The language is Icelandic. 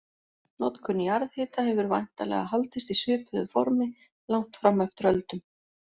Notkun jarðhita hefur væntanlega haldist í svipuðu formi langt fram eftir öldum.